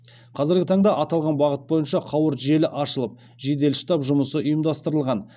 қазіргі таңда аталған бағыт бойынша қауырт желі ашылып жедел штаб жұмысы ұйымдастырылған